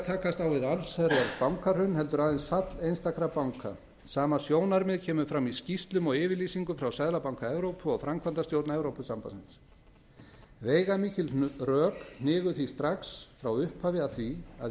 takast á við allsherjar bankahrun heldur aðeins fall einstakra banka sama sjónarmið kemur fram í skýrslum og yfirlýsingum frá seðlabanka evrópu og framkvæmdastjórn evrópusambandsins veigamikil rök hnigu því strax frá upphafi að því að